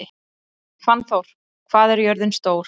Fannþór, hvað er jörðin stór?